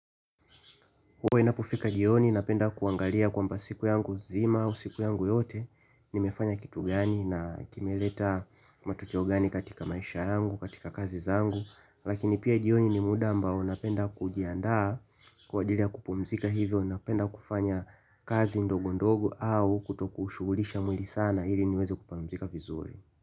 Huwa inapofika jioni napenda kuangalia kwamba siku yanguzima au siku yangu yote. Nimefanya kitu gani na kimeleta matokeo gani katika maisha yangu, katika kazi zangu. Lakini pia jioni ni muda ambao napenda kujiandaa kwa ajili ya kupumzika hivyo ninapenda kufanya kazi ndogo ndogo au kutokushughulisha mwili sana hili niweze kupumzika vizuri.